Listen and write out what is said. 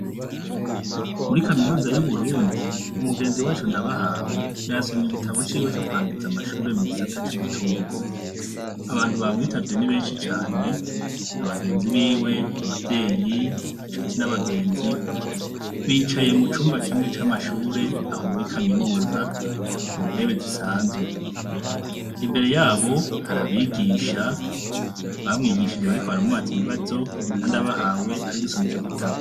Muri kaminuza yu Burundi, umugenzi wacu Ndabahawe yasomy' igitabo ciwe cokurangiz'amashure yo mu gisata c'ubutunzi, abantu bamwitavye ni benshi cane, abagenzi biwe, abavyey' incuti n' abagenzi bicaye mucumba kimwe c'amashur'aho muri kaminuza ku ntebe zisanzwe, imbere yabo har' abigisha bamwigishije bariko baramubaz' ibibazo na Ndabahawe arigusom' ico gitabo.